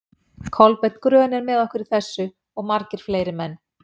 Kolbeinn grön er með okkur í þessu, og margir fleiri menn.